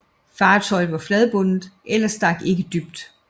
Fartøjet var fladbundet eller stak ikke dybt